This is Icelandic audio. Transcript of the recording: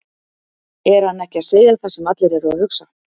Er hann ekki að segja það sem allir eru að hugsa?